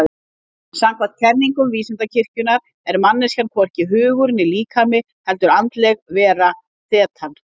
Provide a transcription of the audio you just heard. Samkvæmt kenningum Vísindakirkjunnar er manneskjan hvorki hugur né líkami heldur andleg vera, þetan.